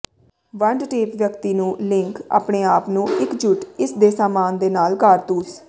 ਵੰਡ ਟੇਪ ਵਿਅਕਤੀ ਨੂੰ ਲਿੰਕ ਆਪਣੇ ਆਪ ਨੂੰ ਇਕਜੁੱਟ ਇਸ ਦੇ ਸਾਮਾਨ ਦੇ ਨਾਲ ਕਾਰਤੂਸ